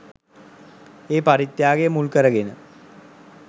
ඒ පරිත්‍යාගය මුල් කරගෙන